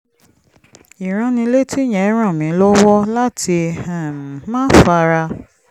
ìránnilétí yẹn ràn mí lọ́wọ́ láti um máa fara